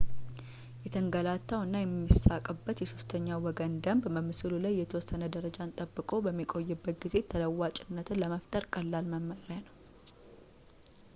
የተንገላታው እና የሚሳቅበት የሦስተኛ ወገን ደንብ በምስሉ ላይ የተወሰነ ደረጃን ጠብቆ በሚቆይበት ጊዜ ተለዋዋጭነትን ለመፍጠር ቀላል መመሪያ ነው